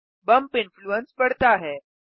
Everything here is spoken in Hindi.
बम्प इन्फ्लूएंस बढ़ता है